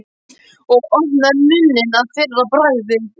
Og opnaði munninn að fyrra bragði.